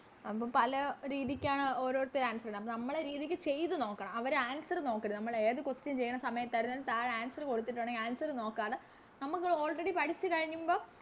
അതിപ്പോ പല രീതിക്കാണ് ഓരോരുത്തര് Answer ഇട അപ്പൊ നമ്മളെ രീതിക്ക് ചെയ്ത നോക്കണം അവര് Answer നോക്കരുത് നമ്മളേത് Question ചെയ്യണ സമയത്തായിരുന്നാലും താഴെ Answer കൊടുത്തിട്ടുണ്ടെങ്കി Answer നോക്കാതെ നമ്മക്കത് Already പഠിച്ച് കഴിഞുമ്പോ